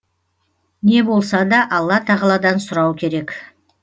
не болса да алла тағаладан сұрау керек